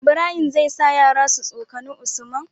Ibrahim zai sa yara su tsokani usman